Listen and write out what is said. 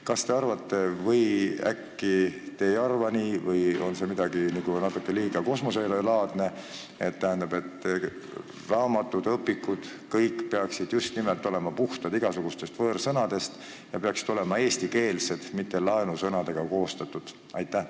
Mis teie arvate –äkki on natuke liiga kosmoselaadne –, kas raamatud ja õpikud peaksid kõik olema just nimelt puhtad igasugustest võõrsõnadest ja eestikeelsed, mitte laensõnadest koostatud?